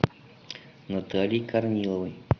натальей корниловой